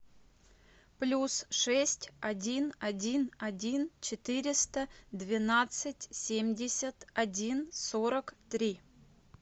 плюс шесть один один один четыреста двенадцать семьдесят один сорок три